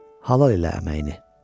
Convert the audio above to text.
Halal elə əməyini.